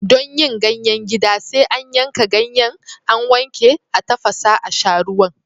Don yin ganyen gida, sai a yanka ganyen, a wanke, a tafasa a sha ruwan.